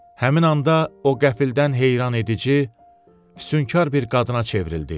Həmin anda o qəfildən heyrandedici, sünkür bir qadına çevrildi.